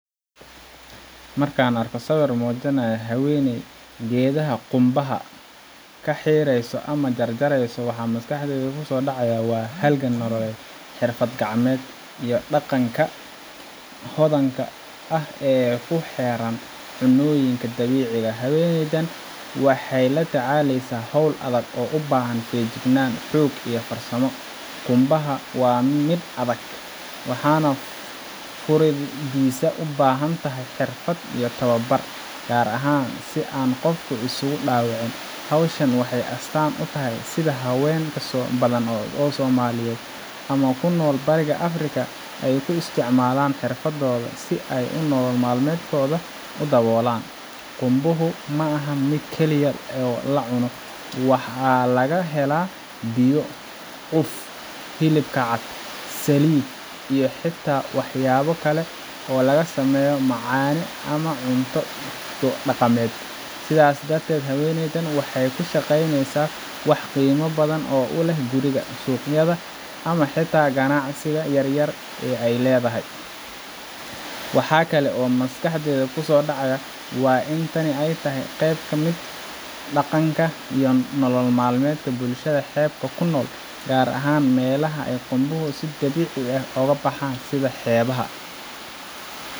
Markaan arko sawir muujinaya haweeney tufaaxa geedaha qumbaha ka xiirayso ama jarjarayso, waxa maskaxdayda ku soo dhacaya halgan nololeed, xirfad gacmeed, iyo dhaqanka hodanka ah ee ku xeeran cunnooyinka dabiiciga ah. Haweeneydan waxay la tacaaleysaa hawl adag oo u baahan feejignaan, xoog, iyo farsamo. Qumbaha waa mid adag, waxaana furiddiisa u baahan tahay xirfad iyo tababar, gaar ahaan si aan qofku isugu dhaawicin. Hawshan waxay astaan u tahay sida haween badan oo Soomaaliyeed ama ku nool bariga Afrika ay u isticmaalaan xirfadooda si ay nolol maalmeedkooda u daboolaan. Qumbuhu ma aha mid keliya oo la cuno – waxaa laga helaa biyo, cuf hilibka cad, saliid, iyo xitaa waxyaabo kale oo laga sameeyo macaane ama cunto dhaqameed. Sidaas darteed, haweeneydan waxay ka shaqeynaysaa wax qiimo badan u leh guriga, suuqyada ama xitaa ganacsiga yar ee ay leedahay. Wax kale oo maskaxda ku soo dhaca waa in tani ay tahay qayb ka mid ah dhaqanka iyo nolol maalmeedka bulshada xeebaha ku nool, gaar ahaan meelaha ay qumbuhu si dabiici ah uga baxaan sida xeebaha